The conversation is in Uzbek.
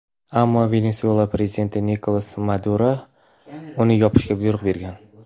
Ammo Venesuela Prezidenti Nikolas Maduro uni yopishga buyruq bergan.